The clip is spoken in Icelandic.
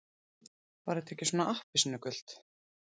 Var þetta ekki svona appelsínugult?